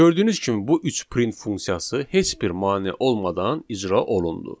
Gördüyünüz kimi bu üç print funksiyası heç bir mane olmadan icra olundu.